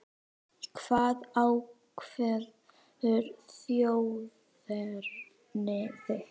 Hvað ákveður þjóðerni þitt?